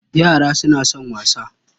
Yara suna son wasa.